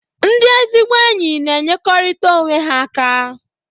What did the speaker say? Ndị ezigbo enyi n'enyekọrịtara onwe ha aka.